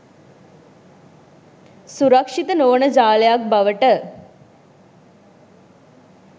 සුරක්ෂිත නොවන ජාලයක් බවට